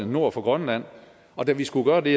nord for grønland og da vi skulle gøre det